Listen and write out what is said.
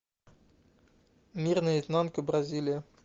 мир наизнанку бразилия